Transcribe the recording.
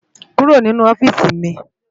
Kúró ninú òfisi mi